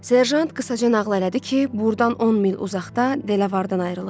Serjant qısaca nağıl elədi ki, buradan 10 mil uzaqda Delavardan ayrılıb.